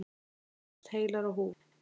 Þær fundust heilar á húfi.